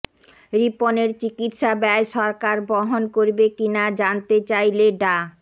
রিপনের চিকিৎসা ব্যয় সরকার বহন করবে কিনা জানতে চাইলে ডা